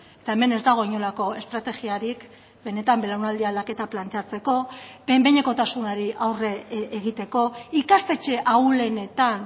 eta hemen ez dago inolako estrategiarik benetan belaunaldi aldaketa planteatzeko behin behinekotasunari aurre egiteko ikastetxe ahulenetan